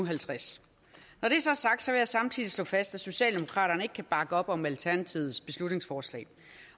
halvtreds når det så er sagt vil jeg samtidig slå fast at socialdemokraterne ikke kan bakke op om alternativets beslutningsforslag